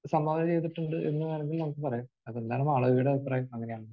ഒരു സംഭാവന ചെയ്തിട്ടുണ്ട് എന്ന് വേണമെങ്കിൽ നമുക്ക് പറയാം. അത് എന്താണ് യുടെ അഭിപ്രായം? അങ്ങനെയാണോ?